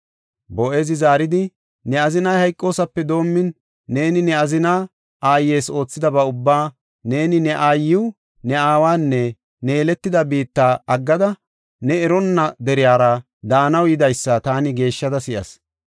Boo7ezi zaaridi, “Ne azinay hayqosaape doomin, neeni ne azina aayes oothidaba ubba, neeni ne aayiw, ne aawanne ne yeletida biitta aggada, ne eronna deriyara daanaw yidaysa taani geeshshada si7as.